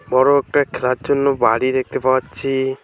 বড় একটা খেলার জন্য বাড়ি দেখতে পাওচ্ছি।